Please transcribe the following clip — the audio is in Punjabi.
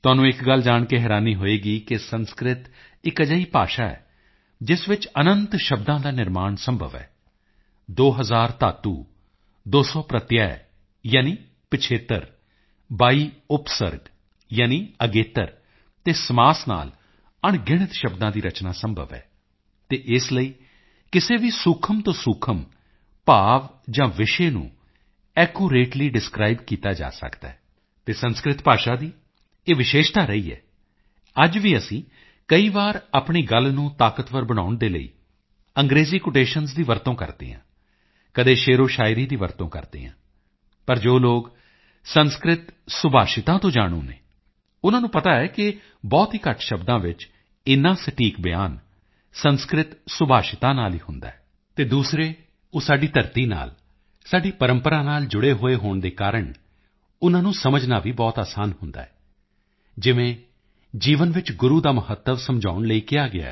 ਤੁਹਾਨੂੰ ਇੱਕ ਗੱਲ ਜਾਣ ਕੇ ਹੈਰਾਨੀ ਹੋਵੇਗੀ ਕਿ ਸੰਸਕ੍ਰਿਤ ਇੱਕ ਅਜਿਹੀ ਭਾਸ਼ਾ ਹੈ ਜਿਸ ਵਿੱਚ ਅਨੰਤ ਸ਼ਬਦਾਂ ਦਾ ਨਿਰਮਾਣ ਸੰਭਵ ਹੈ 2000 ਧਾਤੂ 200 ਪ੍ਰਤਿਯ ਯਾਨੀ ਪਿਛੇਤਰ ਸਫਿਕਸ 22 ਉਪਸਰਗ ਯਾਨੀ ਅਗੇਤਰ ਪ੍ਰੀਫਿਕਸ ਅਤੇ ਸਮਾਜ ਤੋਂ ਅਣਗਿਣਤ ਸ਼ਬਦਾਂ ਦੀ ਰਚਨਾ ਸੰਭਵ ਹੈ ਅਤੇ ਇਸ ਲਈ ਕਿਸੇ ਵੀ ਸੂਖਮ ਤੋਂ ਸੂਖਮ ਭਾਵ ਜਾਂ ਵਿਸ਼ੇ ਨੂੰ ਐਕੂਰੇਟਲੀ ਡਿਸਕ੍ਰਾਈਬ ਕੀਤਾ ਜਾ ਸਕਦਾ ਹੈ ਅਤੇ ਸੰਸਕ੍ਰਿਤ ਭਾਸ਼ਾ ਦੀ ਇਹ ਵਿਸ਼ੇਸ਼ਤਾ ਰਹੀ ਹੈ ਅੱਜ ਵੀ ਅਸੀਂ ਕਦੇ ਆਪਣੀ ਗੱਲ ਨੂੰ ਤਾਕਤਵਰ ਬਣਾਉਣ ਦੇ ਲਈ ਅੰਗ੍ਰੇਜੀ ਕੋਟੇਸ਼ਨਜ਼ ਦੀ ਵਰਤੋਂ ਕਰਦੇ ਹਾਂ ਕਦੇ ਸ਼ੇਅਰਓਸ਼ਾਇਰੀ ਦੀ ਵਰਤੋਂ ਕਰਦੇ ਹਾਂ ਪਰ ਜੋ ਲੋਕ ਸੰਸਕ੍ਰਿਤ ਸੁਭਾਸ਼ਿਤਾਂ ਤੋਂ ਜਾਣੂ ਹਨ ਉਨ੍ਹਾਂ ਨੂੰ ਪਤਾ ਹੈ ਕਿ ਬਹੁਤ ਹੀ ਘੱਟ ਸ਼ਬਦਾਂ ਵਿੱਚ ਇਨਾ ਸਟੀਕ ਬਿਆਨ ਸੰਸਕ੍ਰਿਤ ਸ਼ੁਭਾਸ਼ਿਤਾਂ ਨਾਲ ਹੀ ਹੁੰਦਾ ਹੈ ਅਤੇ ਦੂਸਰੇ ਉਹ ਸਾਡੀ ਧਰਤੀ ਨਾਲ ਸਾਡੀ ਪਰੰਪਰਾ ਨਾਲ ਜੁੜੇ ਹੋਏ ਹੋਣ ਦੇ ਕਾਰਨ ਉਨ੍ਹਾਂ ਨੂੰ ਸਮਝਣਾ ਵੀ ਬਹੁਤ ਆਸਾਨ ਹੁੰਦਾ ਹੈ ਜਿਵੇਂ ਜੀਵਨ ਵਿੱਚ ਗੁਰੂ ਦਾ ਮਹੱਤਵ ਸਮਝਾਉਣ ਲਈ ਕਿਹਾ ਗਿਆ ਹੈ